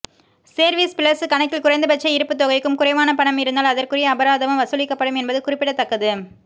service plus கணக்கில் குறைந்தபட்ச இருப்பு தொகைக்கும் குறைவாக பணம் இருந்தால் அதற்குரிய அபராதமும் வசூலிக்கப்படும் என்பது குறிப்பிடத்தக்கது